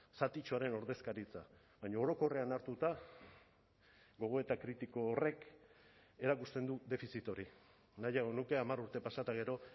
zatitxoaren ordezkaritza baina orokorrean hartuta gogoeta kritiko horrek erakusten du defizit hori nahiago nuke hamar urte pasa eta gero